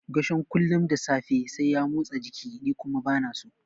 Gershom kullum da safe sai ya motsa jiki ni kuma bana so.